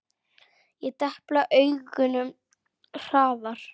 Ég depla augunum hratt.